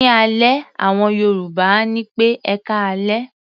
Ní alẹ́, àwọn Yorùbá á ní pé "ẹkáalẹ́".